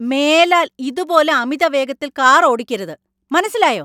മേലാൽ ഇതുപോലെ അമിതവേഗത്തിൽ കാർ ഓടിക്കരുത്; മനസ്സിലായോ?